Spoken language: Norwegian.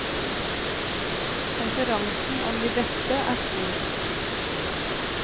Konkurransen om de beste er stor.